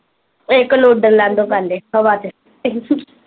ਇੱਕ ਨੂੰ ਉੱਡਣ ਲੈਣ ਦੋ ਪਹਿਲੇ ਹਵਾ ਚ